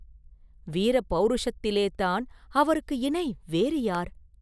வீர பௌருஷத்திலேத்தான் அவருக்கு இணை வேறு யார்?